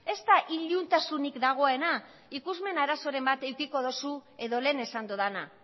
ez da iluntasunik dagoena ikusmen arazoren bat edukiko duzu edo lehen esan dudana